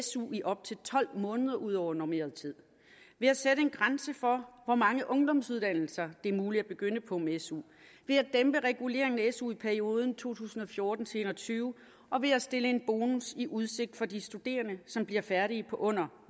su i op til tolv måneder ud over normeret tid ved at sætte en grænse for hvor mange ungdomsuddannelser det er muligt at begynde på med su ved at dæmpe reguleringen af su i perioden to tusind og fjorten til en og tyve og ved at stille en bonus i udsigt for de studerende som bliver færdige på under